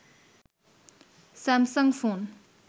Samsung phone